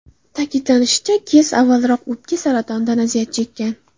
Ta’kidlanishicha, Kes avvalroq o‘pka saratonidan aziyat chekkan.